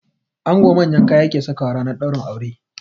Ango manyan kaya yake sakawa ranar ɗaurin aure